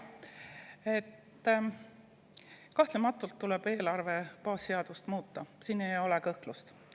Kahtlemata tuleb eelarve baasseadust muuta, selles ei ole kõhklust.